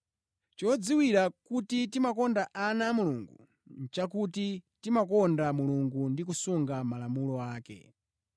Chodziwira kuti timakonda ana a Mulungu nʼchakuti timakonda Mulungu ndi kusunga malamulo ake.